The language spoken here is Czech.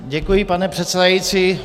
Děkuji, pane předsedající.